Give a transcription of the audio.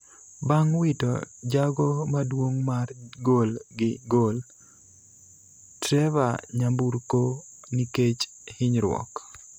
bang' wito jago maduong' mar gol gi gol, Trevor nyamburko nikech hinyruok.